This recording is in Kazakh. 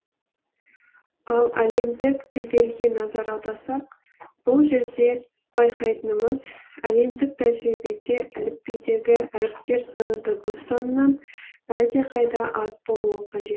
ал әлемдік тілдерге назар аударсақ бұл жерде байқайтынымыз әлемдік тәжірибеде әліпбидегі әріптер саны дыбыс санынан әлдеқайда аз болуы қажет